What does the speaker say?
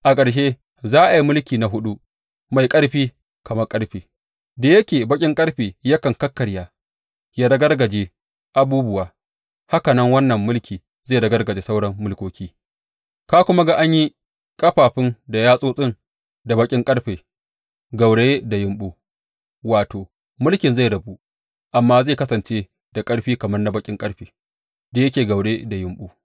A ƙarshe, za a yi mulki na huɗu, mai ƙarfi kamar ƙarfe, Da yake baƙin ƙarfe yakan kakkarya, ya ragargaje abubuwa, haka nan wannan mulki zai ragargaje sauran mulkoki Ka kuma ga an yi ƙafafun da yatsotsin da baƙin ƙarfe gauraye da yumɓu, wato, mulkin zai rabu, amma zai kasance da ƙarfi kamar na baƙin ƙarfe da yake gauraye da yumɓu.